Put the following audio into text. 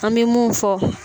An be mun fɔ